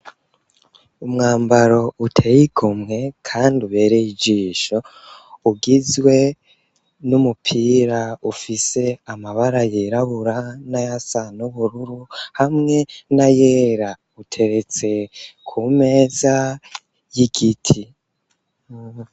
Umwambaro uteye igomwe kandi ubereye ijisho, ugizwe n'umupira ufise amabara yirabura n'ayasa n'ubururu hamwe n'ayera; uteretse ku meza y'igiti.